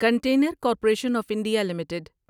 container corporation of India limited